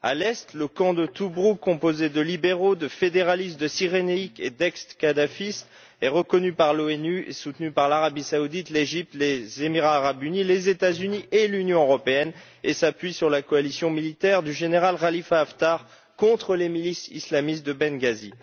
À l'est, le camp de Tobrouk composé de libéraux, de fédéralistes de Cyrénaïque et d'ex kadhafistes, est reconnu par l'ONU et soutenu par l'Arabie Saoudite, l'Égypte, les Émirats arabes unis, les États Unis et l'Union européenne, et s'appuie sur la coalition militaire du général Khalifa Haftar contre les milices islamistes de Benghazi.